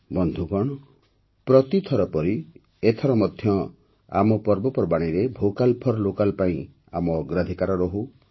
ବନ୍ଧୁଗଣ ପ୍ରତିଥର ପରି ଏଥର ମଧ୍ୟ ଆମ ପର୍ବପର୍ବାଣୀରେ ଭୋକାଲ୍ ଫର୍ ଲୋକାଲ୍ ପାଇଁ ଆମ ଅଗ୍ରାଧିକାର ରହୁ